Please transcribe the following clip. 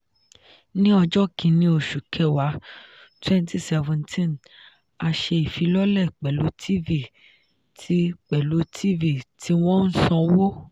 ni ọjọ́ kínní oṣù kẹwàá 2017 a ṣe ìfilọ́lẹ̀ pẹ̀lú tv tí pẹ̀lú tv tí wọ́n ń sanwó.